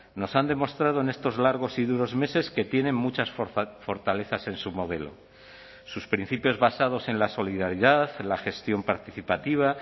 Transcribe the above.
nos han demostrado en estos largos y duros meses que tienen muchas fortalezas en su modelo sus principios basados en la solidaridad la gestión participativa